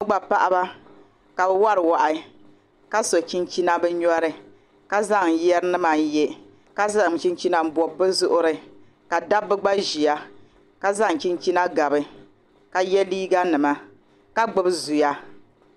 Bɛ gba paɣaba ka bɛ wari wahi ka so chinchina bɛ nyɔri ka zaŋ yeri nima n ye ka zaŋ chinchina n bobi bɛ zuɣuri ka dabba gba ʒia ka zaŋ chinchina gobi ka ye liiga nima ka gbibi zuya.